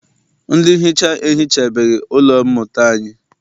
Ndị nhicha ehichabeghị ụlọ mmụta anyi.